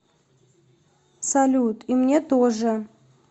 салют и мне тоже